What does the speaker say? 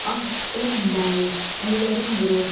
Ah, bənim bais, əllərim qırılsın.